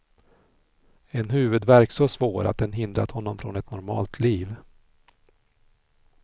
En huvudvärk så svår att den hindrat honom från ett normalt liv.